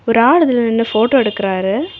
ஒரு ஆளு இதுலநின்னு போட்டோ எடுக்குறாரு.